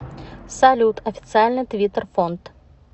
салют официальный твиттер фонд